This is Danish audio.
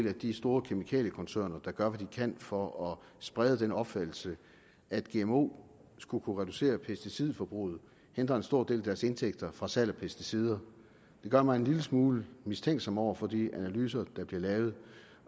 af de store kemikaliekoncerner gør hvad de kan for at sprede den opfattelse at gmo skulle reducere pesticidforbruget og hindre en stor del af deres indtægter fra salg af pesticider det gør mig en lille smule mistænksom over for de analyser der bliver lavet